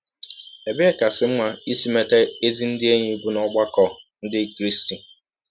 Ebe kasị mma isi meta ezi ndị enyi bụ n’ọgbakọ ndị Krịsti